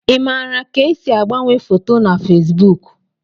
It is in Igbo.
Ị maara ka esi agbanwe foto na Fesbuk?